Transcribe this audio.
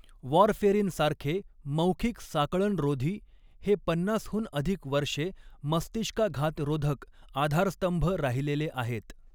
Warfarin सारखे मौखिक साकळणरोधी, हे पन्नास हून अधिक वर्षे मस्तिष्काघातरोधक आधारस्तंभ राहिलेले आहेत.